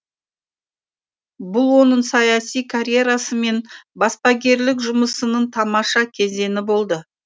бұл оның саяси карьерасы мен баспагерлік жұмысының тамаша кезеңі болды